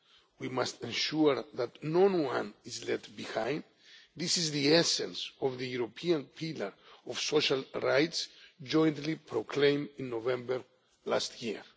we must ensure that no one is left behind. This is the essence of the European Pillar of Social Rights, jointly proclaimed in November last year.